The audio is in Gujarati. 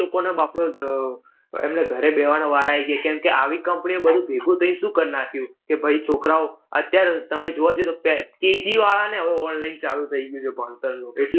આપડે આહ એમને ઘરે બેસવાનો વારો આઈ ગયો કેમ કે આવી company એ બૌ ભેગું થઈને શું કર નાખ્યું કે ભાઈ છોકરાઓ, અત્યાર તમે જોવા જઈએ તો કે KG વાળાને હવે online ચાલું થઈ ગયું છે ભણતરનું